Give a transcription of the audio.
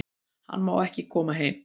Hann má ekki koma heim